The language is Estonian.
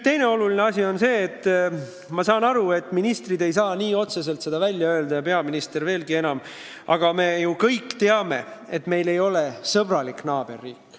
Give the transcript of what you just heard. Teine oluline asi: ma saan aru, et ministrid ei saa seda nii otse välja öelda – peaminister veelgi vähem –, aga me ju kõik teame, et meie kõrval ei ole sõbralik naaberriik.